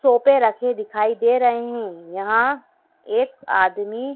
सोफे रखे दिखाई दे रहे हैं यहां एक आदमी--